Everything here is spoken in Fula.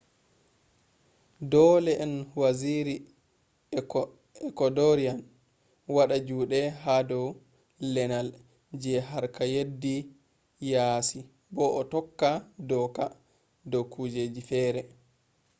dole on waziri ecuadorian wada jude ha dow lenal je harka yeddi yasi bo o tokka doka ha dow kujeji feere